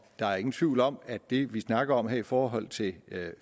der er ingen tvivl om at det vi snakker om her i forhold til